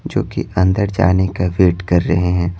जो कि अंदर जाने का वेट कर रहे हैं।